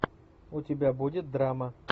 у тебя будет драма